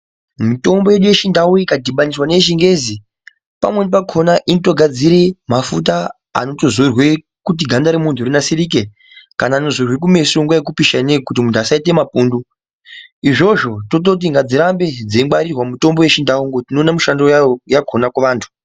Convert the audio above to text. Mitombo yedu yechindau ikadhibaniswa neyechingezi pamweni pakona inotogadzire mafuta anotozorwe kuti ganda remuntu rinasirike, kana anozorwe kumeso nguwa yekupisha ineyi kuti muntu asaite mapundu . Izvozvo tototi ngadzirambe dzeingwarirwa mitombo yechindau ngekuti tinoone mushando wakona kuvantu.